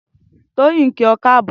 Toyin n kí ọ káàbọ̀